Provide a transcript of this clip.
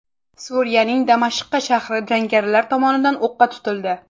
Suriyaning Damashqa shahri jangarilar tomonidan o‘qqa tutildi.